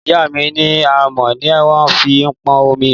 Ìyá mí ni àmọ ni wọn fi ń pọn òmí